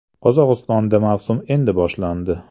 Qozog‘istonda mavsum endi boshlandi.